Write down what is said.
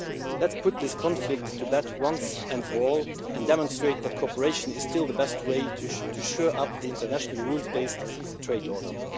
Let's put this conflict to bed once and for all and demonstrate that cooperation is still the best way to shore up the international rules based trade order.